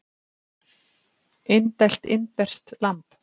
Indælt indverskt lamb